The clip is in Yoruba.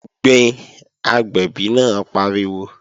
Gbin, agbẹ̀bí náà pariwo!